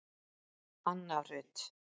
Anna Rut.